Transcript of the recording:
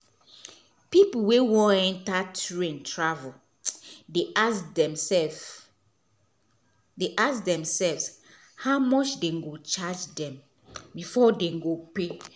pipo wey wan enta train travel dey ask dem sefs dey ask tdem self how much dem charge dem before dem go pay